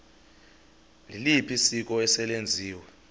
liliphi isiko eselenziwe